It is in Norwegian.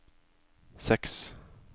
seks